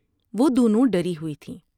وہ دونوں ڈری ہوئی تھیں ۔